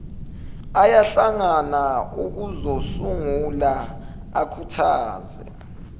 ayahlangana ukuzosungula akhuthaze